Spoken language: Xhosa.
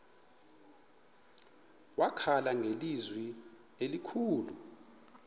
wakhala ngelizwi elikhulu